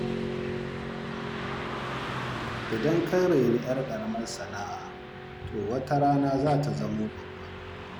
Idan ka raini 'yar ƙaramar sana'a, to wata rana za ta zama babba.